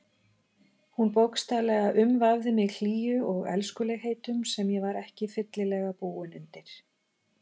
Hún bókstaflega umvafði mig hlýju og elskulegheitum sem ég var ekki fyllilega búinn undir.